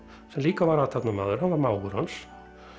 sem líka var athafnamaður hann var mágur hans